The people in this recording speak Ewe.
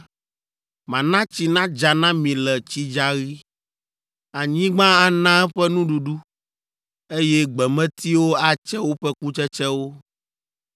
mana tsi nadza na mi le tsidzaɣi, anyigba ana eƒe nuɖuɖu, eye gbemetiwo atse woƒe kutsetsewo.